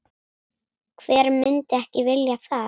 Hver myndi ekki vilja það?